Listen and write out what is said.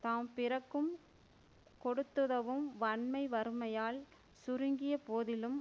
தாம் பிறக்கும் கொடுத்துதவும் வன்மை வறுமையால் சுருங்கிய போதிலும்